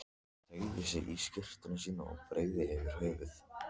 Hann teygði sig í skyrtuna sína og breiddi yfir höfuð.